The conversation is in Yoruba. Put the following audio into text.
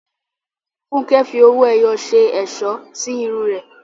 Funke fi owó ẹyọ ṣe ẹ̀ṣọ́ sí irun rẹ̀.